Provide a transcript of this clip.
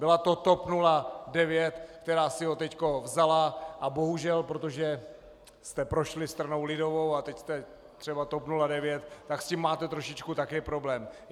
Byla to TOP 09, která si ho teď vzala, a bohužel protože jste prošli stranou lidovou a teď jste třeba TOP 09, tak s tím máte trošičku také problém.